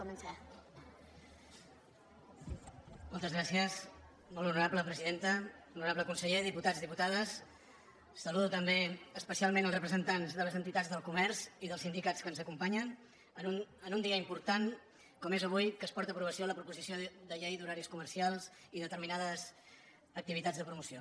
honorable conseller diputats i diputades saludo també especialment els representants de les entitats del comerç i dels sindicats que ens acompanyen en un dia important com és avui que es porta a aprovació la proposició de llei d’horaris comercials i determinades activitats de promoció